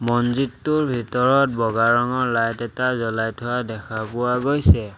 মন্দিৰটোৰ ভিতৰত বগা ৰঙৰ লাইট এটা জ্বলাই থোৱা দেখা পোৱা গৈছে।